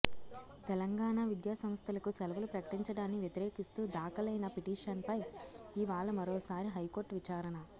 తెలంగాణ విద్యాసంస్థలకు సెలవులు ప్రకటించడాన్ని వ్యతిరేకిస్తూ దాఖలైన పిటిషన్పై ఇవాళ మరోసారి హైకోర్టు విచారణ